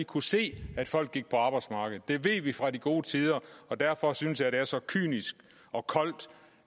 kunne se at folk gik på arbejde det ved vi fra de gode tider og derfor synes jeg det er så kynisk og koldt